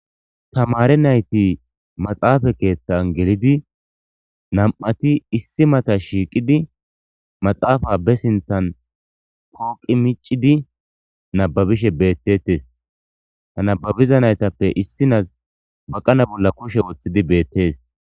Tamare nayti maxaafa keethtan gelidi nam'ati issi mata shiiqidi maxaafa be sinthan pooqi micidi nababishe beettetes ha nababiza naytappe issinaz baqana bolla kushe woththidi beettees.